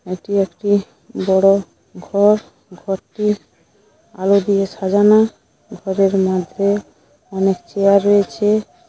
এটি একটি বড় ঘর ঘরটি আলো দিয়ে সাজানো ঘরের মধ্যে অনেক চেয়ার রয়েছে।